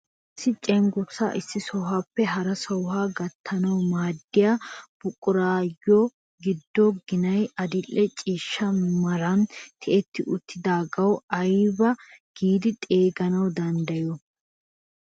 Issi cengurssaa issi sohuwaappe hara sohuwaa gattaanwu maaddiyaa buquraayoo giddo ginay adil'e ciishsha meran tiyetti uttidagaa aybaa giidi xeeganwu danddayiyoo?